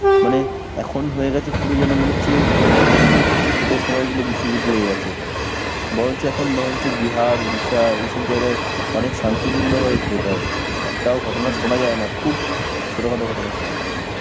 মানে এখন হয়ে গেছে পুরো যেন মনে হচ্ছে, হম vote এর সময় গুলো বিশ্বযুদ্ধ লেগে গেছে. বরঞ্চ এখন, বরঞ্চ বিহার, উড়িষ্যা, এইসব জায়গায় অনেক শান্তিপুণ্য ভাবে vote হয়. একটাও ঘটনা শোনা যায় না. খুব ছোটখাটো ঘটনা ছাড়া.